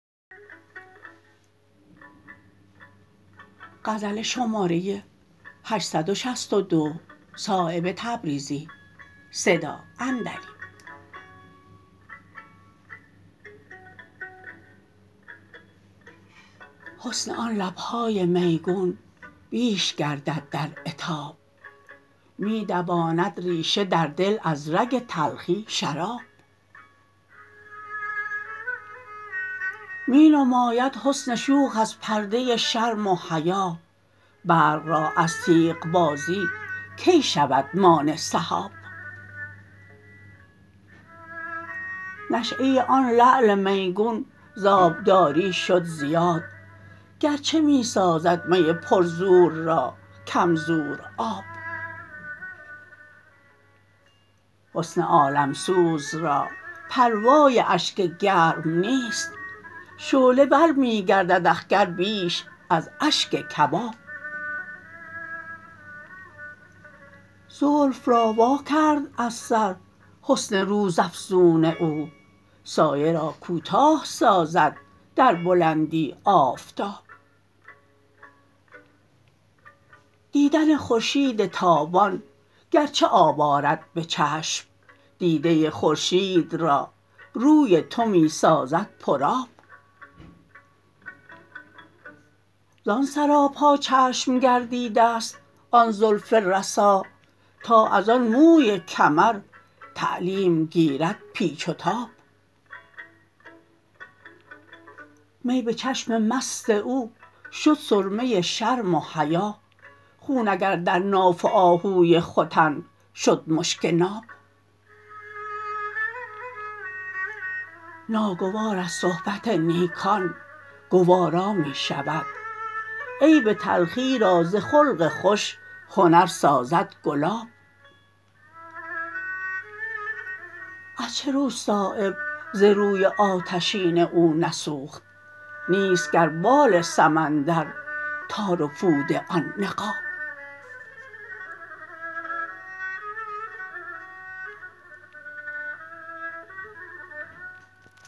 حسن آن لبهای میگون بیش گردد در عتاب می دواند ریشه در دل از رگ تلخی شراب می نماید حسن شوخ از پرده شرم و حیا برق را از تیغ بازی کی شود مانع سحاب نشأه آن لعل میگون ز آبداری شد زیاد گرچه می سازد می پر زور را کم زور آب حسن عالمسوز را پروای اشک گرم نیست شعله ور می گردد اخگر بیش از اشک کباب زلف را وا کرد از سر حسن روزافزون او سایه را کوتاه سازد در بلندی آفتاب دیدن خورشید تابان گرچه آب آرد به چشم دیده خورشید را روی تو می سازد پر آب زان سراپا چشم گردیده است آن زلف رسا تا ازان موی کمر تعلیم گیرد پیچ و تاب می به چشم مست او شد سرمه شرم و حیا خون اگر در ناف آهوی ختن شد مشک ناب ناگوار از صحبت نیکان گوارا می شود عیب تلخی را ز خلق خوش هنر سازد گلاب از چه رو صایب ز روی آتشین او نسوخت نیست گر بال سمندر تار و پود آن نقاب